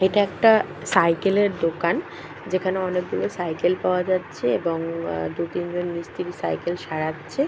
এটা একটা সাইকেলের দোকান যেখানে অনেকগুলো সাইকেল পাওয়া যাচ্ছে। এবং আ দুই তিনজন মিস্ত্রি সাইকেল সারাচ্ছে।